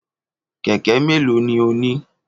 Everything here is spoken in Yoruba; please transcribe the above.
Kẹ̀kẹ́ méèló ni o ní?